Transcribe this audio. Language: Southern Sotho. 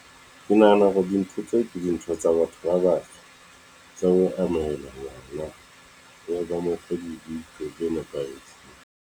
Ke nahana hore dintho tseo, ke dintho tsa batho ba batsho, tsa ho amohela ngwana tse nepahetse.